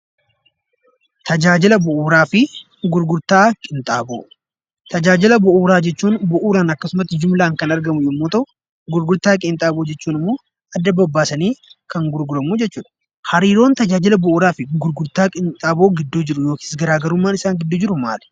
Tajaajila Bu'uuraa fi Gurgurtaa Qinxaaboo: Tajaajila bu'uuraa jechuun jumlaan akkasuma bu'uuraan kan argamu yommuu ta'u, gurgurtaa qinxaaboo jechuun immoo adda babbaasanii kan gurguramu jechuudha. Hariiroon tajaajila bu'uuraa fi gurgurtaa qinxaaboo gidduu jiruu fi garaagarummaan tajaajila bu'uuraa fi gurgurtaa qinxaaboo gidduu jiru maali?